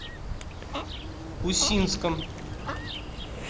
усинском